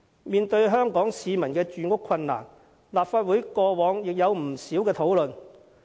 面對香港市民的住屋困難，立法會過往也有不少討論。